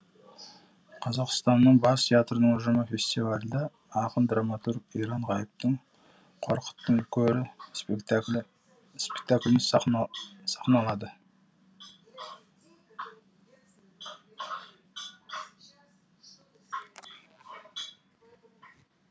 қазақстанның бас театрының ұжымы фестивальда ақын драматург иран ғайыптың қорқыттың көрі спектаклін сахналады